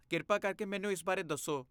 ਕਿਰਪਾ ਕਰਕੇ ਮੈਨੂੰ ਇਸ ਬਾਰੇ ਦੱਸੋ।